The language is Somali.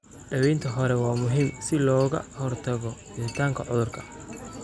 Daawaynta hore waa muhiim si looga hortago fiditaanka cudurka.